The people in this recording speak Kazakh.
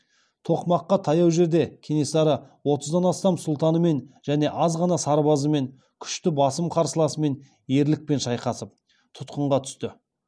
тоқмаққа таяу жерде кенесары отыздан астам сұлтанымен және аз ғана сарбазымен күшті басым қарсыласымен ерлікпен шайқасып тұтқынға түсті